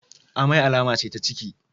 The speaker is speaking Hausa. Amai alama ce ta ciki.